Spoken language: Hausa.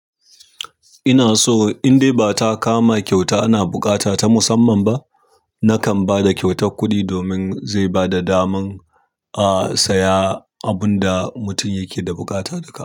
Ina so in dai ba ta kama kyauta ana buƙata ta musamman ba, nakan ba da kyautar kuɗi domin zai ba da daman, a, saya abun da mutum yake da bukata duka.